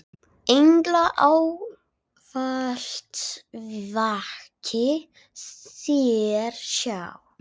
Englar ávallt vaki þér hjá.